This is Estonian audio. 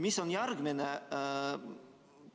Mis on järgmine?